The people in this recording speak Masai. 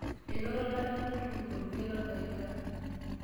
enoto olarewani loontukutuk olmuket lorbaribara